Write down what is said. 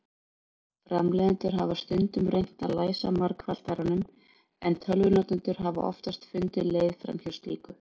Framleiðendur hafa stundum reynt að læsa margfaldaranum, en tölvunotendur hafa oftast fundið leið framhjá slíku.